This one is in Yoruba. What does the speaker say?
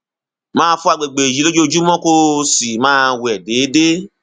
máa fọ àgbègbè yìí lójoojúmọ kó o sì máa wẹ déédéé